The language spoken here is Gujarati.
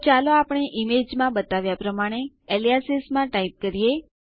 તો ચાલો આપણે ઈમેજમાં બતાવ્યા પ્રમાણે એલિયાસિસ માં ટાઈપ કરીએ